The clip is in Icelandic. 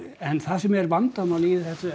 en það sem er vandamálið í þessu